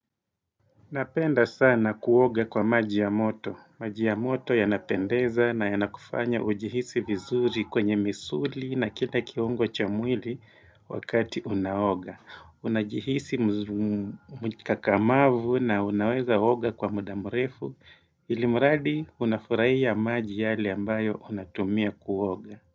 Napenda sana kuoga kwa maji ya moto. Maji ya moto yanapendeza na yanakufanya ujihisi vizuri kwenye misuli na kila kiungo chamwili wakati unaoga. Unajihisi mzumumu mkakamavu na unaweza oga kwa muda mrefu ilimuradi unafurahiya maji yale ambayo unatumia kuoga.